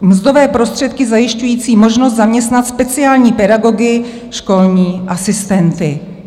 Mzdové prostředky zajišťující možnost zaměstnat speciální pedagogy, školní asistenty."